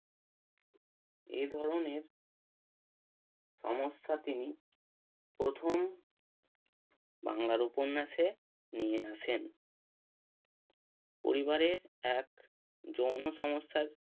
এ ধরণের সমস্যা তিনি প্রথম বাংলার উপন্যাসে নিয়ে আসেন পরিবারের এক যৌন সমস্যার